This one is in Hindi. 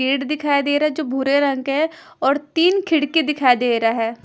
पेड़ दिखाई दे रहा है जो भूरे रंग का है और तीन खिड़की दिखाई दे रहा है ।